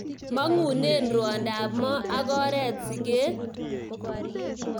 Mang'une rwondo ab mo ak oret siket.